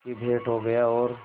की भेंट हो गया और